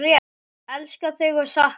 Elska þig og sakna!